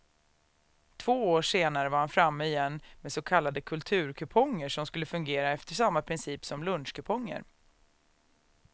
Två år senare var han framme igen med så kallade kulturkuponger som skulle fungera efter samma princip som lunchkuponger.